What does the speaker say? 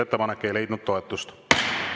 Ettepanek ei leidnud toetust.